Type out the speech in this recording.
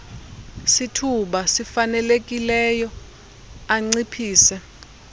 sithuba sifanelekileyo anciphise